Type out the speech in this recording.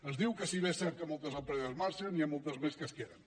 ens diu que si bé és cert que moltes empreses marxen hi ha moltes més que es queden